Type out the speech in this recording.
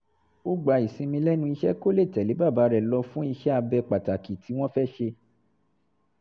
ó gba ìsinmi lẹ́nu iṣẹ́ kó lè tẹ̀lé bàbá rẹ̀ lọ fún iṣẹ́-abẹ pàtàkì tí wọ́n fẹ́ ṣe